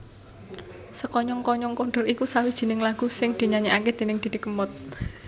Sekonyong konyong koder iku sawijining lagu sing dinyanyèkaké déning Didi Kempot